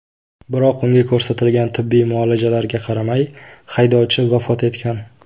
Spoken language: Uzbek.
Biroq unga ko‘rsatilgan tibbiy muolajalarga qaramay, haydovchi vafot etgan.